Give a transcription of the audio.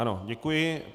Ano, děkuji.